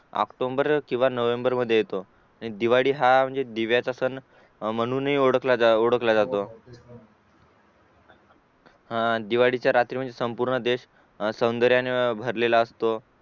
OCTOMBER किंवा NOVEMBER मध्ये येतो दिवाळी हा म्हणजे दिव्याचा सण